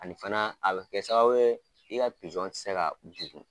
Ani fana a bɛ kɛ sababu ye i ka pizɔn tɛ se ka ka bugu